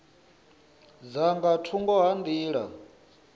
dza nga thungo ha nḓila